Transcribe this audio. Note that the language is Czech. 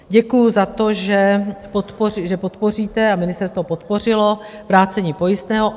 Děkuju za to, že podpoříte - a ministerstvo podpořilo- vrácení pojistného.